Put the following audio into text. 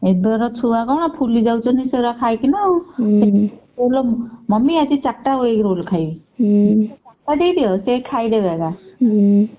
ଏବେ ~ଗୁଡା ଛୁଆ କଣ ଫୁଲି ଯାଉଛନ୍ତି ସେଗୁଡା ଖାଇକିନା ଆଉ mummy ଆଜି ଚାରଟା egg roll ଖାଇବି ହଁ ଦେଇଦିଅ ସେ ଖାଇଦେବେ ଏକା